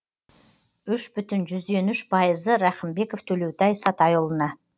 үш бүтін жүзден үш пайызы рақымбеков төлеутай сатайұлына